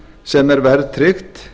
sem er verðtryggt